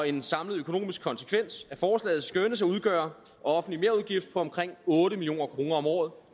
en samlet økonomisk konsekvens af forslaget skønnes at udgøre en offentlig merudgift på omkring otte million kroner om året